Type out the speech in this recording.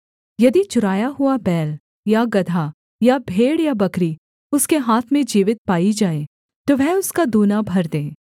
यदि चुराया हुआ बैल या गदहा या भेड़ या बकरी उसके हाथ में जीवित पाई जाए तो वह उसका दूना भर दे